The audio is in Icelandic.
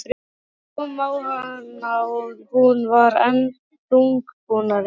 Það kom á hana og hún varð enn þungbúnari.